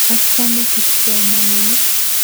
Achame kipsomaninik.